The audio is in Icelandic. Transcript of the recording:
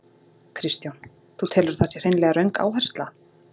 Kristján: Þú telur að það sé hreinlega röng áhersla?